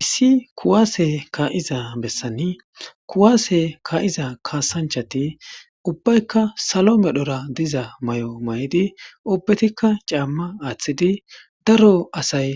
Issi kuwasse ka'iza bessan kuwase ka'iza kaassanchchati ubbaykka salo medhira diza mayo mayidi ubbatikka caamma aaththidi daro asay